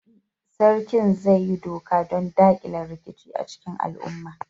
Baɗi, Sarkin zai yi doka don dakile rikici a cikin al'umma.